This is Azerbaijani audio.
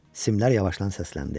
Simlər yavaşdan səsləndi.